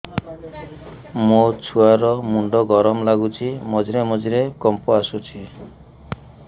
ମୋ ଛୁଆ ର ମୁଣ୍ଡ ଗରମ ଲାଗୁଚି ମଝିରେ ମଝିରେ କମ୍ପ ଆସୁଛି